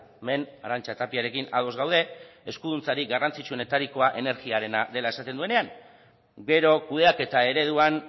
hemen arantxa tapiarekin ados gaude eskuduntzarik garrantzitsuenetarikoa energiarena dela esaten duenean gero kudeaketa ereduan